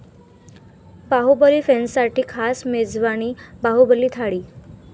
बाहुबली फॅन्ससाठी खास मेजवानी 'बाहुबली थाळी'